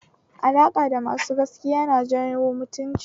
Alaƙa da masu gaskiya yan jawo mutunci